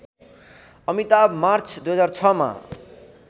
Amitabh March २००६ मा